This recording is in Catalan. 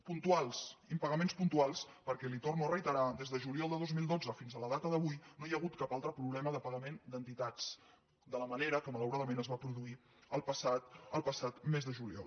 puntuals impagaments puntuals perquè li ho torno a reiterar des de juliol de dos mil dotze fins a la data d’avui no hi ha hagut cap altre problema de pagament d’entitats de la manera que malauradament es va produir el passat mes de juliol